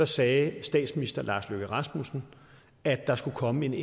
sagde statsministeren at der skulle komme en